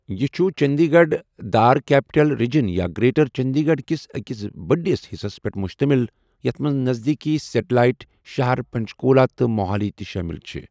یہِ چُھ چٔنٛدی گَڑھ داركیپٹِل ریجن یا گرٛیٹَر چٔنٛدی گَڑُھ کِس اكِس بڈِس حصس پیٹھ مٗشتمِل یَتھ منٛز نزدیٖکی سیٚٹَلایِٹ شَہر پنٛچکولہ تہٕ موہالی تہِ شٲمِل چھِ ۔